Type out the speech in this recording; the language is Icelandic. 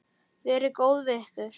Verið góð við ykkur.